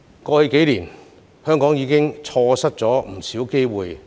過去數年，香港已經錯失不少機會。